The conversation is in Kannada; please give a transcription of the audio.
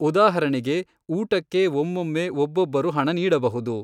ಉದಾಹರಣೆಗೆ, ಊಟಕ್ಕೆ ಒಮ್ಮೊಮ್ಮೆ ಒಬ್ಬೊಬ್ಬರು ಹಣ ನೀಡಬಹುದು.